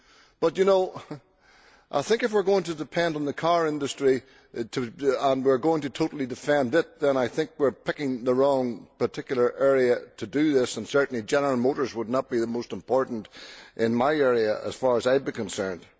But, you know, I think if we are going to depend on the car industry and we are going to totally defend it then I think we are picking the wrong particular area in which to do this, and certainly General Motors would not be the most important in my area, as far as I would be concerned.